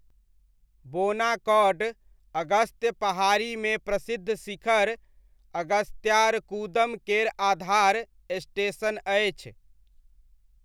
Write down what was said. बोनाकौड अगस्त्य पहाड़ीमे प्रसिद्ध शिखर, अगस्त्यारकूदम केर आधार स्टेशन अछि।